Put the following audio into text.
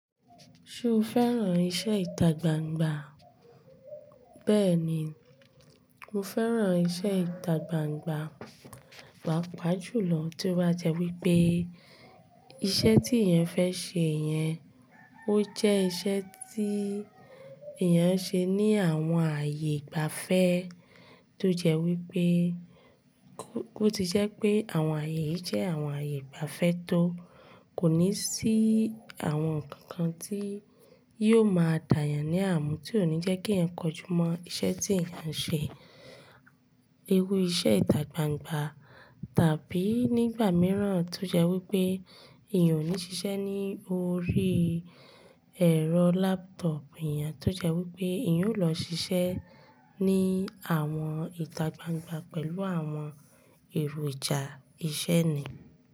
Ṣo fẹ́ràn iṣẹ́ ìtagbangba? Bẹ́ẹ̀ni, mo fẹ́ràn iṣẹ́ ìtagbangba, pàápàá jùlọ tí ó bá jẹ́ wípé iṣẹ́ tí èèyàn fẹ́ ṣe yẹn, ó jẹ́ iṣẹ́ tí èèyàn ń ṣe ní àwọn ààyè ìgbafẹ́ tó jẹ́ wípé ó ti jẹ́ pé àwọn ààyè yìí jẹ́ àwọn ààyè ìgbafẹ́ tó kò ní sí àwọn ǹkan kan tí yóò máa dáyàn ní ààmù tí ò ní jẹ́ kí èèyàn kọjú mọ́ iṣẹ́ tí èèyàn ń ṣe. Iru iṣẹ́ ìtagbangba tàbí nígbà mìíràn tó jẹ́ wípé ìyẹn ò ní ṣiṣẹ́ ní orí ẹ̀rọ laptop èèyàn, tó jẹ́ wípé ìyẹn ó lọ ṣiṣẹ́ ní àwọn ìtagbangba pẹ̀lú àwọn èròjà ìṣe ni.